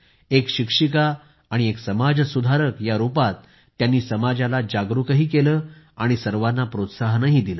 एक शिक्षिका आणि एक समाज सुधारक या रूपानं त्यांनी समाजाला जागरूकही केलं आणि सर्वांना प्रोत्साहनही दिले